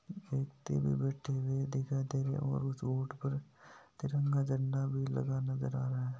व्यक्ति भी बेठे दिखाय दे रहे है ओर उस रोड पर तिरंगा झंडा लगा भी दिखाय दे रहा है।